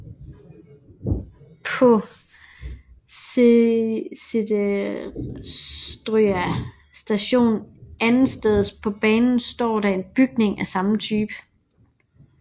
På Seterstøa Station andetsteds på banen står der en bygning af samme type